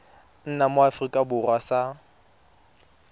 nna mo aforika borwa sa